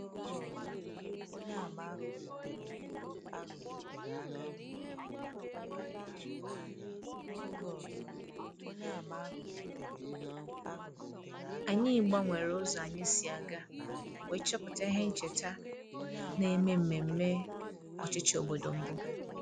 Anyị gbanwere ụzọ anyị si aga wee chọpụta ihe ncheta na-eme mmemme ọchịchị obodo mbụ